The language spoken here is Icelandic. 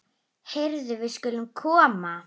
Heyrðu, við skulum koma.